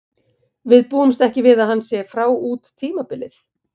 Við búumst ekki við að hann sé frá út tímabilið.